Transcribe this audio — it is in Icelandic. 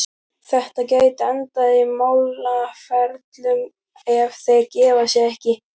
Þetta gæti endað í málaferlum, ef þeir gefa sig ekki.